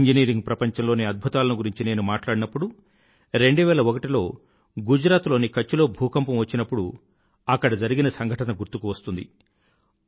engineering ప్రపంచంలోని అద్భుతాలను గురించి నేను మాట్లాడినప్పుడు 2001 లో గుజరాత్ లోని కచ్ లో భూకంపం వచ్చినప్పుడు జరిగిన సంఘటన గుర్తుకు వస్తుంది